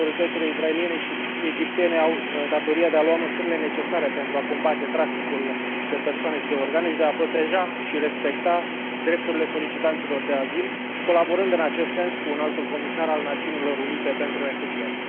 Autoritățile israeliene și egiptene au datoria de a lua măsurile necesare pentru a combate traficul de persoane și de organe și de a proteja și respecta drepturile solicitanților de azil, colaborând în acest sens cu Înaltul Comisar al Națiunilor Unite pentru Refugiați.